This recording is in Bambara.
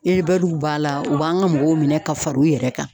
b'a la u b'an ka mɔgɔw minɛ ka fara u yɛrɛ kan